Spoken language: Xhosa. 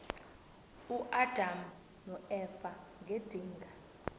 uadam noeva ngedinga